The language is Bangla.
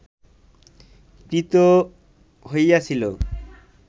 ক্রীত হইয়াছিল